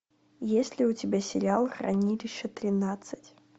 есть ли у тебя сериал хранилище тринадцать